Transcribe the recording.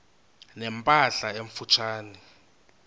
ne mpahla emfutshane